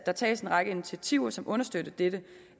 der tages en række initiativer som understøtter dette